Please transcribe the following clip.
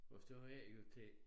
Og så af og til